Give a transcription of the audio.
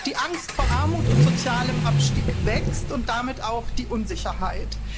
Die Angst vor Armut und sozialem Abstieg wächst und damit auch die Unsicherheit.